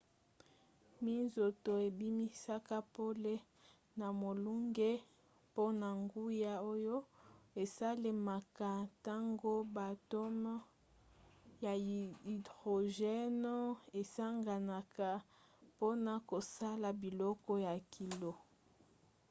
minzoto ebimisaka pole na molunge mpona nguya oyo esalemaka ntango ba atome ya hydrogène esanganaka mpona kosala biloko ya kilo